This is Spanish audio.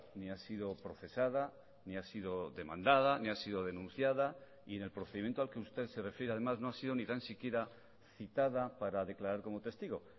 ni ha sido procesada ni ha sido demandada ni ha sido denunciada y en el procedimiento al que usted se refiere además no ha sido ni tan siquiera citada para declarar como testigo